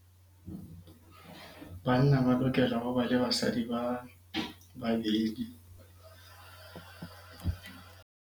Banna ba lokela ho ba le basadi ba babedi.